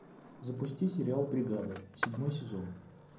запусти сериал бригада седьмой сезон